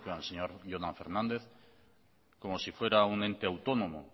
al señor jonan fernández como si fuera un ente autónomo